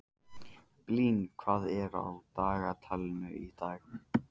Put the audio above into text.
Blín, hvað er á dagatalinu í dag?